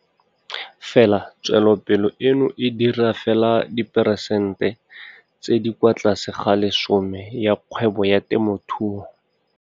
Fela tswelopele eno e dira fela diperesente tse di kwa tlase ga 10 ya kgwebo ya temothuo.